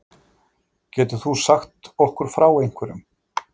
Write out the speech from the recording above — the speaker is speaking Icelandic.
Getur þú sagt okkur frá einhverjum?